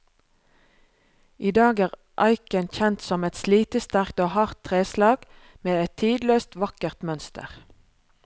I dag er eiken kjent som et slitesterkt og hardt treslag, med et tidløst, vakkert mønster.